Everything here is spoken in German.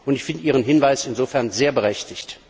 Ich finde Ihren Hinweis insofern sehr berechtigt.